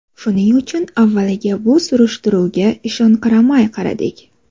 Shuning uchun avvaliga bu surishtiruvga ishonqiramay qaradik.